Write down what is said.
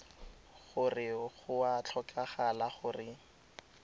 gore go a tlhokagala gore